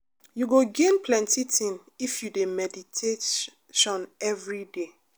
you go gain plenty thing if you de meditation everyday